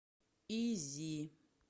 изи